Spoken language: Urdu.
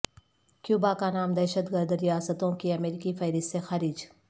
کیوبا کا نام دہشت گرد ریاستوں کی امریکی فہرست سے خارج